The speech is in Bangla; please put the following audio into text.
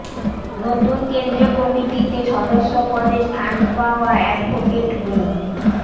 নতুন কেন্দ্রীয় কমিটিতে সদস্য পদে স্থান পাওয়া অ্যাডভোকেট মো